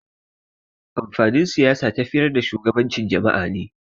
Amfanin Siyasa tafiyar da shugabancin jama'a ne.